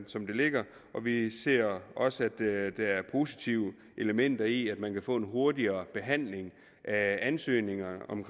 som det ligger og vi ser også at der er positive elementer i at man kan få en hurtigere behandling af ansøgninger om